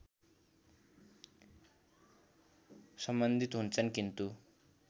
सम्बन्धित हुन्छन् किन्तु